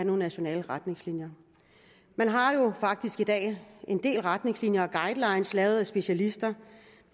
nogle nationale retningslinjer man har jo faktisk i dag en del retningslinjer og guidelines lavet af specialister